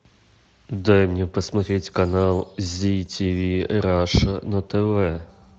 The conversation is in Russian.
дай мне посмотреть канал зи ти ви раша на тв